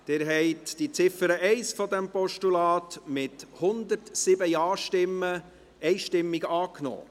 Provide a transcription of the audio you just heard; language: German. Sie haben die Ziffer 1 des Postulats einstimmig angenommen, mit 107 Ja-Stimmen.